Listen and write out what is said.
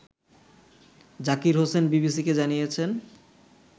জাকির হোসেন বিবিসিকে জানিয়েছেন